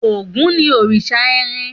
Ògún ni òrìṣà irin.